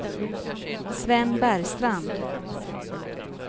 Sven Bergstrand